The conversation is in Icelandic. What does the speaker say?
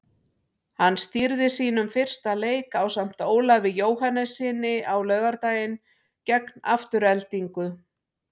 Hann stýrði sínum fyrsta leik ásamt Ólafi Jóhannessyni á laugardaginn gegn Aftureldingu.